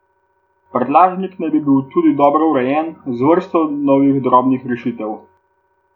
Prtljažnik naj bi bil tudi dobro urejen, z vrsto novih drobnih rešitev.